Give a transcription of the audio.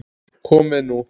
Komið nú